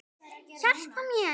Hjálpa mér!